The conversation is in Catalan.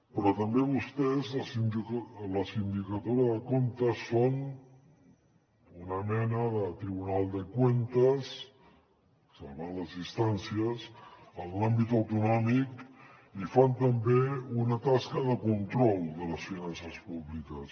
però també vostès la sindicatura de comptes són una mena de tribunal de cuentas salvant ne les distàncies en l’àmbit autonòmic i fan també una tasca de control de les finances públiques